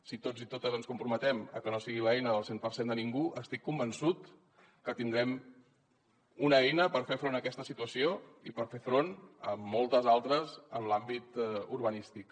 si tots i totes ens comprometem a que no sigui l’eina del cent per cent de ningú estic convençut que tindrem una eina per fer front a aquesta situació i per fer front a moltes altres en l’àmbit urbanístic